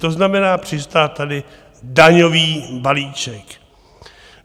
To znamená, přistál tady daňový balíček.